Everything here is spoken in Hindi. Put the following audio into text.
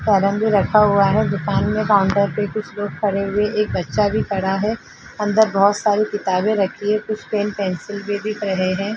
कैरम भी रखा हुआ है दुकान के काउंटर पर कुछ लोग खड़े हुए एक बच्चा भी खड़ा है। अंदर बहुत सारी किताबें रखी हैं कुछ पेन पेंसिल भी दिख रहे हैं।